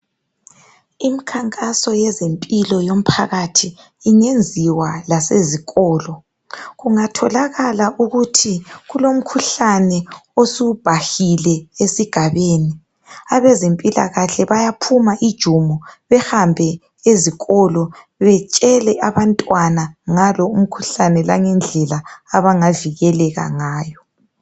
Imikhankaso yezempilo yomphakathi ingenziwa lasezikolo . Kungatholakala ukuthi kulomkhuhlane osubhahile esigabeni abezempilakahle bayaphuma ijumo bahambe ezikolo betshela abantwana ngalo umkhuhlane lendlela abangazivikela ngayo.